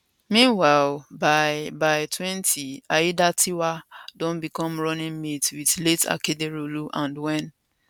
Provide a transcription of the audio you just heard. meanwhile by by 2020 aiyedatiwa don become running mate wit late akeredolu and wen